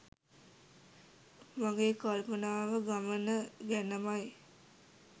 මගේ කල්පනාව ගමන ගැනමයි.